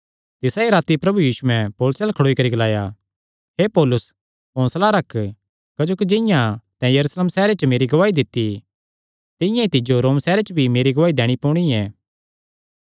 तिसा ई राती प्रभु यीशुयैं पौलुसे अल्ल खड़ोई करी ग्लाया हे पौलुस हौंसला रख क्जोकि जिंआं तैं यरूशलेम सैहरे च मेरी गवाही दित्ती तिंआं ई तिज्जो रोम सैहरे च भी मेरी गवाही दैणी पोणी ऐ